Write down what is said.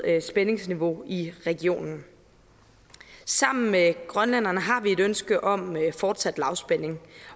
øget spændingsniveau i regionen sammen med grønlænderne har vi et ønske om fortsat lavspænding